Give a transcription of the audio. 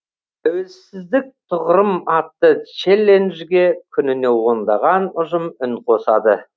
тәуелсіздік тұғырым атты челленжге күніне ондаған ұжым үн қосады